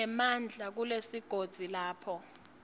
nemandla kulesigodzi lapho